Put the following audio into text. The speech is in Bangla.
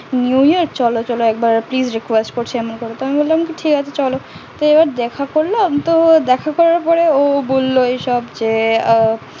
New year চলো তা হলে একবার please request করছি আমি বললাম তো ঠিক আছে তো চলো